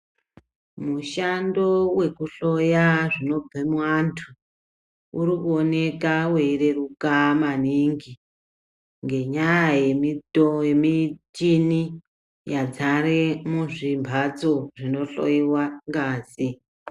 Mushando wekuhloya zvinobva muantu uri kuoneka weireruka maningi, ngenyaya yemichini yadzare muzvimhatso zvinohloiwa ngazi.